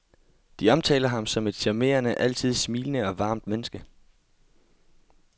De omtaler ham som et charmerende, altid smilende og varmt menneske.